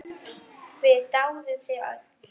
Við dáðum þig öll.